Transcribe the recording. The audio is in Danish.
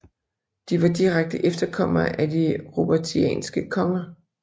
De var direkte efterkommere af de Robertianske konger